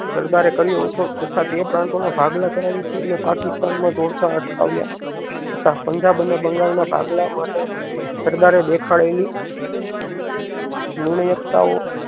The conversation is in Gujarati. સરદારે કર્યો હતો તથ્ય તે પ્રાન્તોનો ભાગલા કરાવી તેમને પાકિસ્તાન માં જોડતા અટકાવ્યા તથા પંજાબ અને બંગાળ ના ભાગલા માટે સરદારે દેખાડેલી લૂણી એકતાઓ